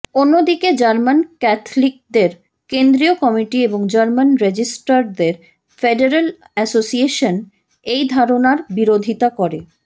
অন্যদিকে জার্মান ক্যাথলিকদের কেন্দ্রীয় কমিটি এবং জার্মান রেজিস্ট্রারদের ফেডারেল অ্যাসোসিয়েশন এই ধারণার বিরোধীতা করে